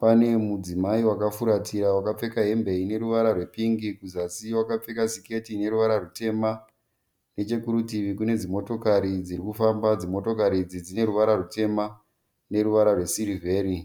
Pane mudzimai akafuratira akapfeka hembe ine ruvara rwepingi kuzasi akapfeka siketi ineruvara rutemba. Nechekurutivi kune dzimotikari dziri kufamba. Dzimotikari idzi dzine ruvara rutema neruvara rwesirivheri.